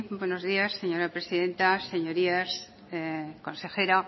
buenos días señora presidenta señorías consejera